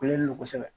Kulelen don kosɛbɛ